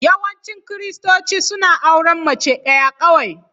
Yawancin Kiristoci suna auren mace ɗaya kawai.